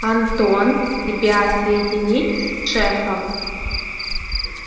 антон тебя соединить с шефом